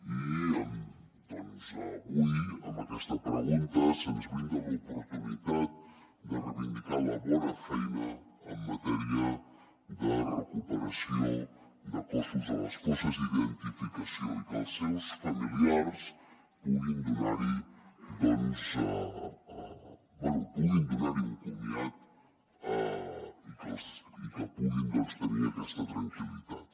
i avui amb aquesta pregunta se’ns brinda l’oportunitat de reivindicar la bona feina en matèria de recuperació de cossos a les fosses i d’identificació i que els seus familiars puguin donar hi un comiat i que puguin tenir aquesta tranquil·litat